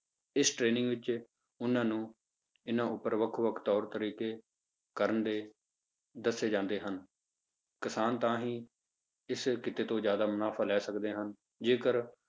ਇਸ training ਵਿੱਚ ਉਹਨਾਂ ਨੂੰ ਇਹਨਾਂ ਉੱਪਰ ਵੱਖ ਵੱਖ ਤੌਰ ਤਰੀਕੇ ਕਰਨ ਦੇ ਦੱਸੇ ਜਾਂਦੇ ਹਨ, ਕਿਸਾਨ ਤਾਂ ਹੀ ਇਸ ਕਿੱਤੇ ਤੋਂ ਜ਼ਿਆਦਾ ਮੁਨਾਫ਼ਾ ਲੈ ਸਕਦੇ ਹਨ ਜੇਕਰ